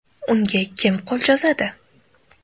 Unga kim qo‘l cho‘zadi?.